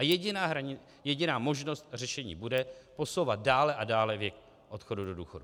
A jediná možnost řešení bude posouvat dále a dále věk odchodu do důchodu.